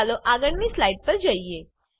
ચાલો આગળની સ્લાઈડ પર જઈએ